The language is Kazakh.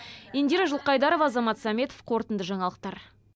индира жылқайдарова азамат сәметов қорытынды жаңалықтар